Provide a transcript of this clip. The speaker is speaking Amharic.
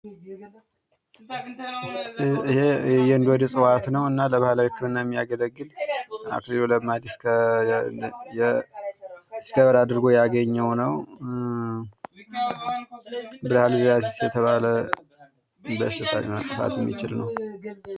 ይኼ የእንዶድ እጽዋት ነው። እና ለ ባህላዊ ህክምና የማይገለግል አክሊሉ ለማ ዲስከቨር አድርጉ ያገኘው ነው። ብለሀርዝያሲስ የተባለ በሽታን ለማጥፋት የሚችል ነው።